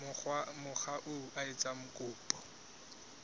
mokga oo a etsang kopo